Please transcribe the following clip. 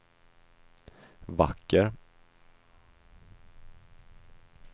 vacker